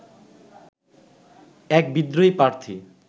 এক বিদ্রোহী প্রার্থী